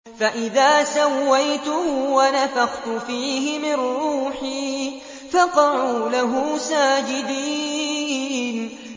فَإِذَا سَوَّيْتُهُ وَنَفَخْتُ فِيهِ مِن رُّوحِي فَقَعُوا لَهُ سَاجِدِينَ